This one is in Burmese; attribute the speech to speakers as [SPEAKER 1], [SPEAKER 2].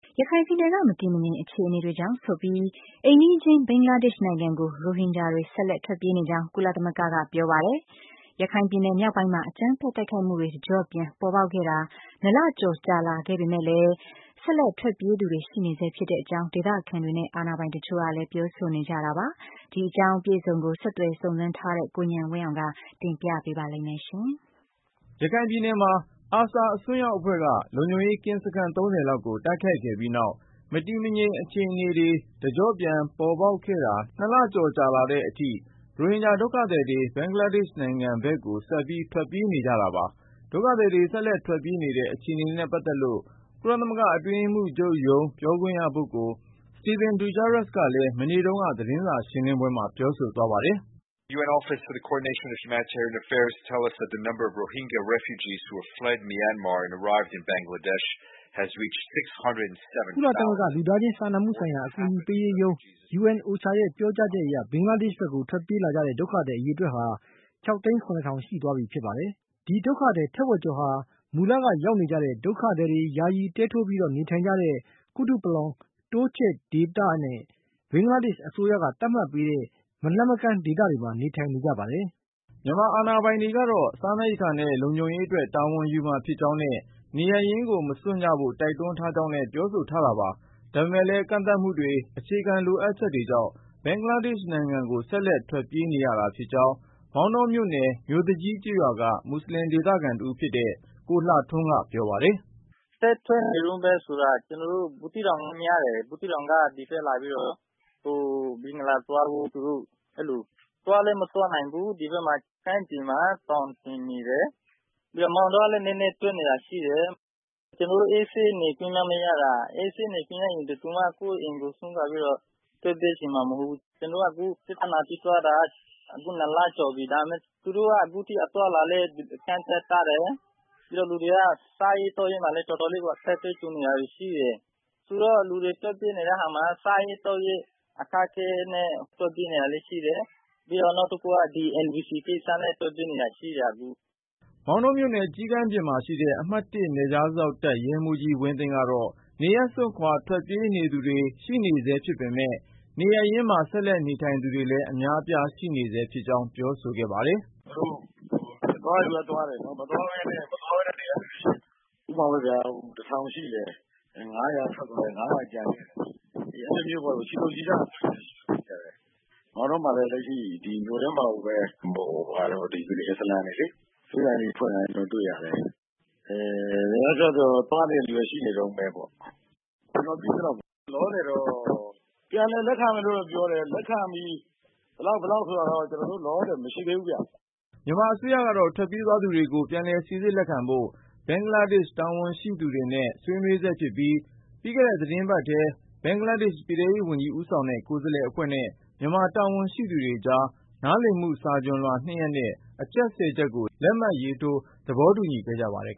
[SPEAKER 1] ရခိုင်ပြည်နယ်က မတည်မငြိမ် အခြေအနေတွေကြောင့်ဆိုပြီး အိမ်နီးချင်း ဘင်္ဂလားဒေ့ရှ် နိုင်ငံကို ရိုဟင်ဂျာတွေ ဆက်လက် ထွက်ပြေးနေကြောင်း ကုလသမဂ္ဂက ပြောဆိုလိုက်ပါတယ်။ ရခိုင်ပြည်နယ် မြောက်ပိုင်းမှာ အကြမ်းဖက်တိုက်ခိုက်မှုတွေ တကျော့ပြန် ပေါ်ပေါက်ခဲ့တာ ၂ လကျော်ကြာလာပေမဲ့လည်း ဆက်လက် ထွက်ပြေးသူတွေ ရှိနေဆဲ ဖြစ်တဲ့အကြောင်း ဒေသခံတွေနဲ့ အာဏာပိုင်တချို့ကလည်း ပြောဆိုနေကြတာပါ။ အပြည့်အစုံကိုတော့ ဆက်သွယ်စုံစမ်းထားတဲ့ ကိုဉာဏ်ဝင်းအောင် က တင်ပြပေးမှာ ဖြစ်ပါတယ်။ ရခိုင်ပြည်နယ်မှာ ARSA အစွန်းရောက်အဖွဲ့က လုံခြုံရေးကင်းစခန်း ၃၀ လောက်ကို တိုက်ခိုက်ခဲ့ပြီးနောက် မတည်မငြိမ် အခြေအနေတွေ တကျော့ပြန် ပေါ်ပေါက်ခဲ့တာ ၂ လကျော်ကြာလာတဲ့အထိ ရိုဟင်ဂျာဒုက္ခသည်တွေ ဘင်္ဂလားဒေ့ရှ် နိုင်ငံကို ဆက်လက် ထွက်ပြေးနေကြတာပါ။ ဒုက္ခသည်တွေ ဆက်လက် ထွက်ပြေးနေတဲ့ အခြေအနေနဲ့ ပတ်သက်လို့ ကုလသမဂ္ဂ အတွင်းရေးမှူးချုပ်ရုံး ပြောခွင့်ရပုဂ္ဂိုလ် Stephane Dujarric ကလည်း မနေ့တုန်းက သတင်းစာရှင်းလင်းပွဲမှာ ပြောဆိုသွားပါတယ်။ “က
[SPEAKER 2] ုလသမဂ္ဂ လူသားချင်းစာနာမှုဆိုင်ရာ အကူအညီပေးရေးရုံး - UNOCHA ရဲ့ ပြောကြားချက်အရ ဘင်္ဂလားဒေ့ရှ်ဘက်ကို ထွက်ပြေးလာ ကြတဲ့ ဒုက္ခသည် အရေအတွက်ဟာ ၆၀၇,၀၀၀ ရှိသွားပြီ ဖြစ်ပါတယ်။ ဒီဒုက္ခသည် ထက်ဝက်ကျော်ဟာ မူလက ရောက်နေကြတဲ့ ဒုက္ခသည်တွေ ယာယီ တဲထိုးပြီး နေထိုင်နေကြတဲ့ Kutupalong တိုးချဲ့ ဒေသနဲ့ ဘင်္ဂလားဒေ့ရှ် အစိုးရက သတ်မှတ်ပေးထားတဲ့ မလှမ်းမကမ်း ဒေသမှာ နေထိုင်နေကြပါတယ်။
[SPEAKER 1] ” မြန်မာအာဏာပိုင်တွေကတော့ စားနပ်ရိက္ခာနဲ့ လုံခြုံရေးအတွက် တာဝန်ယူမှာဖြစ်ကြောင်းနဲ့ နေရပ်ရင်းကို မစွန့်ကြဖို့ တိုက်တွန်းထားကြောင်းလည်း ပြောဆိုထားတာပါ။ ဒါပေမဲ့လည်း ကန့်သတ်မှုတွေ၊ အခြေခံလိုအပ်ချက်တွေကြောင့် ဘင်္ဂလားဒေ့ရှ်နိုင်ငံကို ဆက်လက်ထွက်ပြေးနေရတာ ဖြစ်ကြောင်း မောင်တောမြို့နယ် မြို့သူကြီးကျေးရွာက မွတ်ဆလင် ဒေသခံတဦးဖြစ်သူ ကိုလှထွန်းက ပြောပါတယ်။
[SPEAKER 3] “ဆက်ထွက်နေတုန်းပဲဆိုတာက ကျနော်တို့ ဘူးသီးတောင်ဘက်ကများတယ်။ ဘူးသီးတောင်က ဒီဘက်လာပြီးတော့ ဘင်္ဂလားသွားဖို့ ၊ သူတို့အဲလို သွားလည်းမသွားနိုင်ဘူး။ ဒီဘက်ကမ်းခြေမှာ သောင်တင်နေတယ် ၊ မောင်တောဘက်ကလည်း နည်းနည်းထွက်နေတာရှိတယ်။ ကျနော်တို့ အေးဆေးနေခွင့်မှမရတာ အေးဆေးနေခွင့်ရရင် ဘယ်သူက ကိုယ့်အိမ်ကို စွန့်ခွာပြီးတော့ ထွက်ပြေးချင်မှာမဟုတ်ဘူး ကျနော်တို့က အခု ပြဿနာဖြစ်သွားတာက အခု ၂ လကျော်ပြီ။ ဒါပေမယ့် သူတို့က အခုအထိ အသွားအလာလည်း ကန့်သတ်ထားတယ်။ ပြီးတော့ လူတွေက စားရေးသောက်ရေးမှာလည်းတော်တော် အခက်အခဲကြုံနေရာတာတွေရှိတယ်။ ဆိုတော့ လူတွေထွက်ပြေးနေတဲ့ဟာမှာ စားရေးသောက်ရေးအခက်အခဲနဲ့ ထွက်ပြေးနေတာလည်းရှိတယ်။ ပြီးတော့ NVC ကိစ္စနဲ့ ထွက်ပြေးနေတာလည်းရှိတယ် အခု။
[SPEAKER 1] ” မောင်တောမြို့နယ် ကျီးကန်းပြင်မှာရှိတဲ့ အမှတ် နယ်ခြားစောင့်တပ် ရဲမှူးကြီး ဝင်းသိန်းက ကတော့ နေရပ်စွန့်ခွာ ထွက်ပြေးနေသူတွေ ရှိနေဆဲ ဖြစ်ပေမဲ့၊ နေရပ်ရင်းမှာ ဆက်လက်နေထိုင်သူတွေလည်း အများအပြား ရှိနေဆဲဖြစ်ကြောင်း ပြောဆိုခဲ့တာပါ။ “သူတို့သွားတဲ့လူကလည်း သွားတယ်နော်၊ မသွားပဲနဲ့ နေတဲ့လူတွေလည်းရှိတယ်။ ဥပမာပေါ့ဗျာ ၁၀၀၀ ရှိတယ်။ ၅၀၀ က ထွက်သွားတယ်၊ ၅၀၀ ကျန်တယ် အဲဒီလိုမျိုးပေါ့ ချီတုံချတုံ ဖြစ်တာတွေလည်းရှိတယ်။ အဲလိုမျိုးပေါ့ မောင်တောမှာလည်းလက်ရှိ ဒီမြို့ထဲမှာလည်း အစ္စလာမ်တွေလေ ဆေးဆိုင်လေးတွေဖွင့်ထားတာ ကျနော်တွေ့ရတယ်။ သွားနေတဲ့လူတွေလည်းရှိနေတုန်းပဲပေါ့နော် ။ ကျနော်သိသလောက်လောလောဆည်တော့ ပြန်လည်လက်ခံမယ်လို့တော့ ပြောတယ်။ လက်ခံပြီး ဘယ်လောက်ဘယ်လောက် ဆိုတာကတော့ ကျနော်တို့လောလောဆည်မရှိသေးဘူးခင်ဗျ။” မြန်မာအစိုးရကတော့ ထွက်ပြေးသွားသူတွေကို ပြန်လည်စိစစ်လက်ခံဖို့ ဘင်္ဂလားဒေ့ရှ် တာဝန်ရှိသူတွေနဲ့ ဆွေးနွေးနေဆဲဖြစ်ပြီး၊ ပြီးခဲ့တဲ့ သီတင်းပတ်ထဲ ဘင်္ဂလားဒေ့ရှ် ပြည်ထဲရေး ဝန်ကြီး ဦးဆောင်တဲ့ ကိုယ်စားလှယ်အဖွဲ့နဲ့ မြန်မာတာဝန်ရှိသူတွေကြား နားလည်မှု စာချွန်လွှာ ၂ ရပ်နဲ့ အချက် ၁၀ ချက်ကို လက်မှတ်ရေးထိုး သဘောတူခဲ့ကြပါတယ်